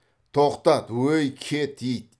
тоқтат ой кет ит